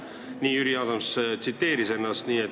Nii tsiteeris Jüri Adams ennast.